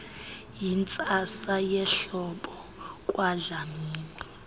yintsasa yehlobo kwadlamini